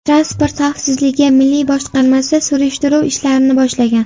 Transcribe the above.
Transport xavfsizligi milliy boshqarmasi surishtiruv ishlarini boshlagan.